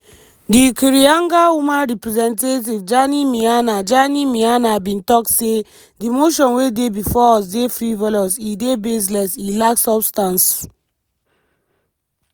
di kirinyaga woman representative jane miana jane miana bin tok say “di motion wey dey bifor us dey frivolous e dey baseless e lack substance.